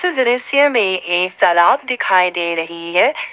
दृश्य में एक तालाब दिखाई दे रही है।